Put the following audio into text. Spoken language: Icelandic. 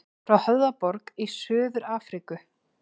Frá Höfðaborg í Suður-Afríku.